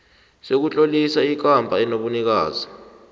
sokutlolisa ikampani enobunikazi